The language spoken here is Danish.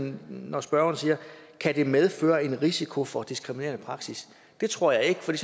når spørgeren siger kan det medføre en risiko for diskriminerende praksis det tror jeg ikke for